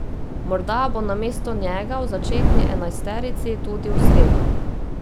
Morda bo namesto njega v začetni enajsterici tudi v sredo.